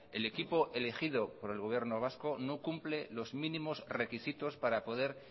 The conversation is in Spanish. el equipo elegido por el gobierno vasco no cumple los mínimos requisitos para poder